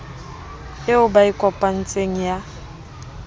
eo ba e kopanetseng ya